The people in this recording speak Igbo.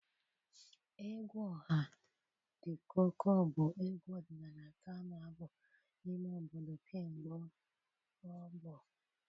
Egwu ọha The Cuckoo bụ egwu ọdịnala nke a na-abụ n'ime obodo kemgbe ọgbọ.